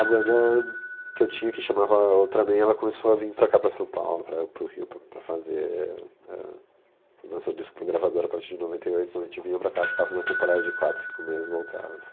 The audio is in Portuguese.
A banda que eu tinha, que chamava Ultraman, ela começou a vir para cá, para São Paulo, para para o Rio, para fazer... lançou o disco para a gravadora a partir de noventa e oito, então a gente vinha para cá, ficava uma temporada de quatro, cinco meses e voltava.